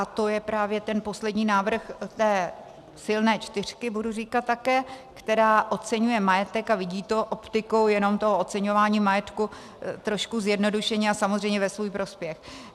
A to je právě ten poslední návrh té silné čtyřky, budu říkat také, která oceňuje majetek a vidí to optikou jenom toho oceňování majetku trošku zjednodušeně a samozřejmě ve svůj prospěch.